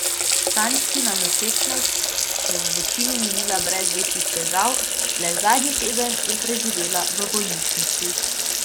Stančkina nosečnost je večinoma minila brez večjih težav, le zadnji teden je preživela v bolnišnici.